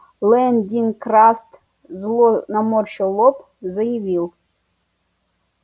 лэн дин краст зло наморщил лоб заявил